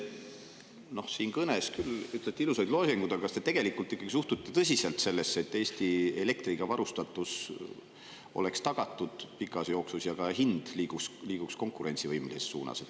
Oma kõnes te küll ütlesite ilusaid loosungeid, aga kas te tegelikult ikkagi suhtute tõsiselt sellesse, et Eesti elektriga varustatus oleks tagatud pikas ja et ka selle hind liiguks konkurentsivõimelises suunas?